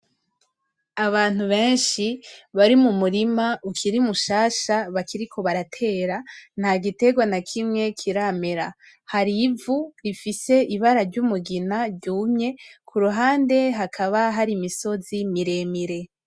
Abantu benshi bari mu murima ukiri mushasha bakiriko baratera nta gitegwa na kimwe kiramera hari ivu bifise ibara ry'umugina ryumye ku ruhande hakaba hari imisozi miremire.